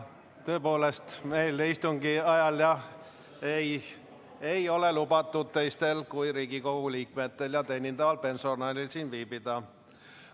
Tõepoolest, meil istungi ajal, jah, ei ole lubatud teistel kui Riigikogu liikmetel ja teenindaval personalil siin viibida.